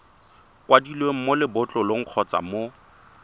kwadilweng mo lebotlolong kgotsa mo